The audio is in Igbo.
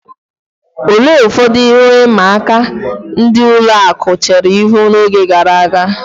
Olee ụfọdụ ihe ịma aka ndị ụlọ akụ̀ chere ihu n'oge gara aga?